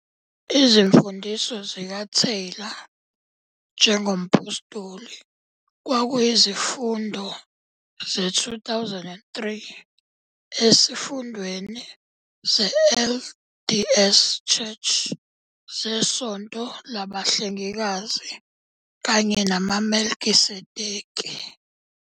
Izimfundiso zikaTaylor njengomphostoli kwakuyizifundo ze-2003 ezifundweni ze-LDS Church zeSonto Labahlengikazi kanye naseMelkisedeki.